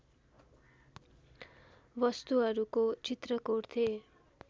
वस्तुहरूको चित्र कोर्थे